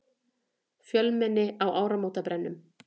Fjölmenni á áramótabrennum